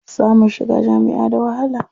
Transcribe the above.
Samun shiga jami'a da wahala.